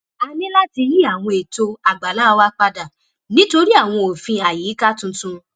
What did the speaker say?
a ní láti yí àwọn eto àgbàlá wa padà nítorí àwọn òfin àyíká tuntun